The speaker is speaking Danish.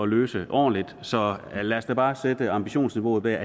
løse ordentligt så lad os da bare sætte ambitionsniveauet der